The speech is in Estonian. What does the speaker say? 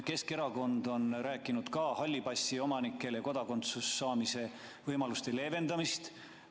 Keskerakond on rääkinud ka halli passi omanikele kodakondsuse saamise võimaluste leevendamisest.